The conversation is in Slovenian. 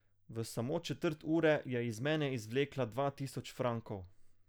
V samo četrt ure je iz mene izvlekla dva tisoč frankov.